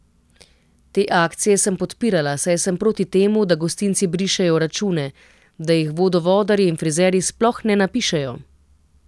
Te akcije sem podpirala, saj sem proti temu, da gostinci brišejo račune, da jih vodovodarji in frizerji sploh ne napišejo.